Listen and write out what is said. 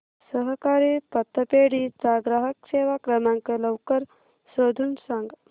सहकारी पतपेढी चा ग्राहक सेवा क्रमांक लवकर शोधून सांग